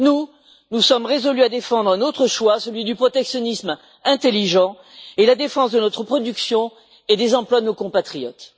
Nous, nous sommes résolus à défendre un autre choix celui du protectionnisme intelligent et la défense de notre production et des emplois de nos compatriotes.